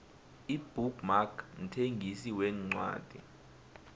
ibook mark mthengisi wencwadi